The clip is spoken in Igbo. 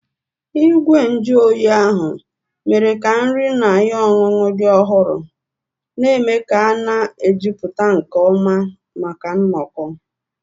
Igwe nju oyi ahụ mere ka nri na ihe ọṅụṅụ dị ọhụrụ, na-eme ka a na-ejupụta nke ọma maka nnọkọ.